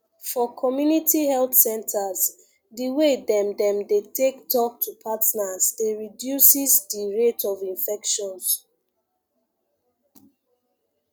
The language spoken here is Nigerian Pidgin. for community health centres di way dem dem dey take talk to partners dey reduces di rate of infections